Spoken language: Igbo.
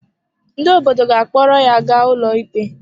Ndị obodo ga-akpọrọ ya ga ụlọikpe.